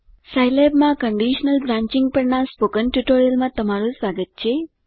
સાઈલેબમાં conditional branching પરના spoken ટ્યુટોરીયલમાં તમારું સ્વાગત છે